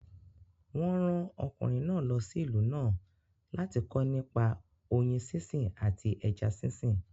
Wọ́n rán ọkùnrin náà lọ sí ìlú náà láti kọ́ nípa oyin sínsìn àti ẹja sínsìn